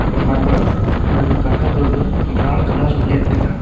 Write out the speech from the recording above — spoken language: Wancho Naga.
aman ma gaga dukan thai brown colour plate ngan taiga.